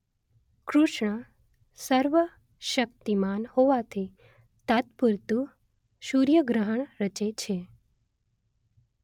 કૃષ્ણ સર્વ શક્તિમાન હોવાથી તાત્પુરતુ સૂર્ય ગ્રહણ રચે છે